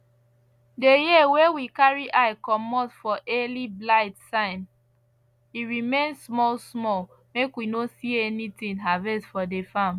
the year wey we carry eye comot for early blight sign e remain small small make we no see anything harvest for the farm